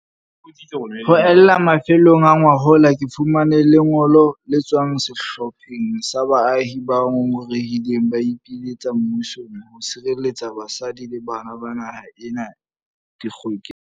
Ho ella mafelong a ngwahola, ke fumane le ngolo le tswang sehlopheng sa baahi ba ngongorehileng ba ipiletsa mmusong ho sireletsa basadi le bana ba naha ena dikgokeng.